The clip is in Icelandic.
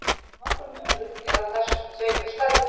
Nokkur munur er á þessum tveimur stærðum.